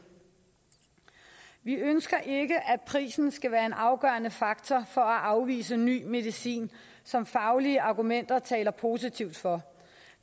vi ønsker ikke at prisen skal være en afgørende faktor for at afvise ny medicin som faglige argumenter taler positivt for